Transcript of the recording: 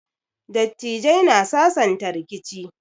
Dattijai na sasanta rikici.